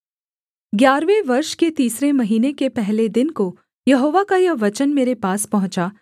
ग्यारहवें वर्ष के तीसरे महीने के पहले दिन को यहोवा का यह वचन मेरे पास पहुँचा